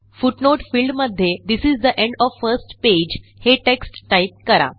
footnote field मध्ये this is the end of first pageहे text type करा